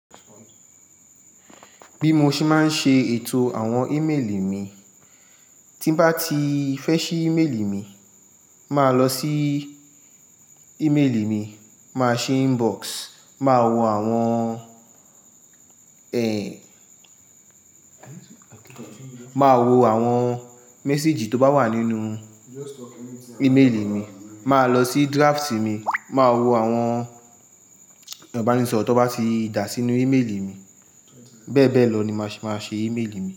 Bí mo ṣe máa ń ṣe ètò àwọn ímeélì mi, tí bá ti fẹ́ ṣí ímeélì mi, màá lọ sí ímeélì mi, màá ṣi inbox, màá wo àwọn, ẹ, màá wo àwọn méséjì tó bá wà nínú íméelì mi, màá lọ sí drafts mi, màá wo àwọn ìbánisọ̀rọ̀ tó bá ti dà sínú íméelì mi. Bẹ́ẹ̀ bẹ́ẹ̀ lọ ni màá ṣe ímélì mi.